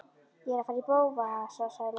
Ég er að fara í bófahasar sagði Lilla.